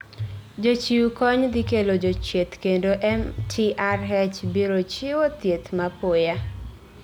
Jochiw kony dhi kelo jodhieth kendo MTRH biro chiwo thieth mapoya